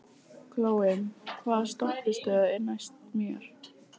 Glói, hvaða stoppistöð er næst mér?